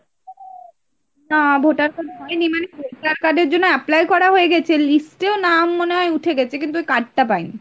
না voter card হয়নি, মানে voter card এর জন্য apply করা হয়ে গেছে, list এও নাম মনে হয় উঠে গেছে কিন্তু ওই card টা পাইনি।